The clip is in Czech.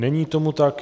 Není tomu tak.